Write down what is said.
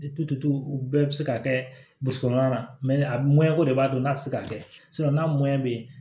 u bɛɛ bɛ se ka kɛ burusi kɔnɔna na a ko de b'a to n'a tɛ se ka kɛ n'a bɛ yen